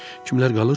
Kimlər qalır?